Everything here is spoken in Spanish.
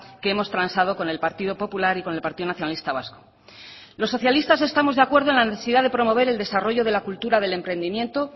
que hemos transado con el partido popular y con el partido nacionalista vasco los socialistas estamos de acuerdo en la necesidad de promover el desarrollo de la cultura del emprendimiento